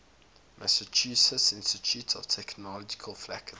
massachusetts institute of technology faculty